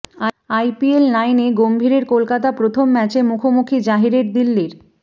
IPL নাইনে গম্ভীরের কলকাতা প্রথম ম্যাচে মুখোমুখি জাহিরের দিল্লির